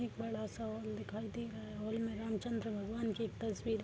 एक बड़ा सा हॉल दिखाई दे रहा है हॉल में रामचंद्र भगवन की एक तस्वीर --